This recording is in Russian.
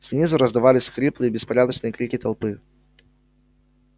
снизу раздавались хриплые беспорядочные крики толпы